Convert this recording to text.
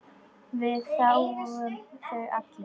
Við þáðum þau allir.